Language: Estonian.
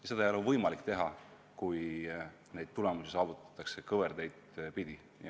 Ja see ei ole võimalik, kui häid tulemusi saavutatakse kõverteid pidi.